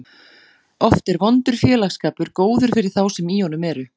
Oft er vondur félagsskapur góður fyrir þá sem í honum eru.